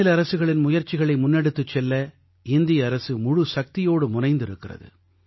மாநில அரசுகளின் முயற்சிகளை முன்னெடுத்துச் செல்ல இந்திய அரசு முழுச் சக்தியோடு முனைந்திருக்கிறது